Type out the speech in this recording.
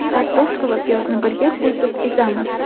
Kartoshka va piyozni birga qo‘shib ezamiz.